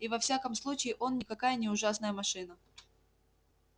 и во всяком случае он никакая не ужасная машина